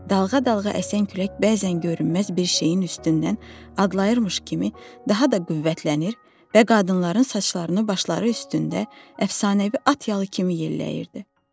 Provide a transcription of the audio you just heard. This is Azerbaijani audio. Dalğa-dalğa əsən külək bəzən görünməz bir şeyin üstündən adlayırmış kimi daha da qüvvətlənir və qadınların saçlarını başları üstündə əfsanəvi at yalı kimi yelləyirdi.